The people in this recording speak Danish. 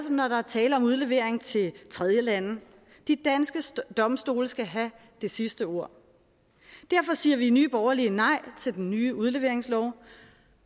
som når der er tale om udlevering til tredjelande de danske domstole skal have det sidste ord derfor siger vi i nye borgerlige nej til den nye udleveringslov